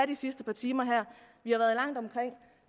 de sidste par timer vi har været langt omkring